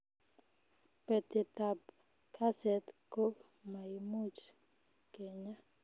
Kpetetab kaset ko maimuch kenyaa